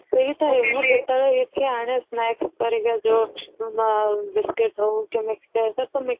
ଆନେ snack ଘରିଆ ଯୋଉ biscuit ହଉ କି mixture ହଉ